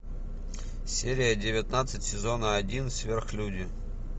серия девятнадцать сезона один сверхлюди